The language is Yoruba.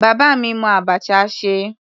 Bàbá mi mọ abacha ṣe.